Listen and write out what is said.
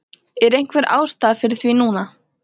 Er einhver ástæða fyrir því núna?